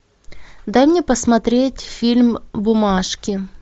дай мне посмотреть фильм бумажки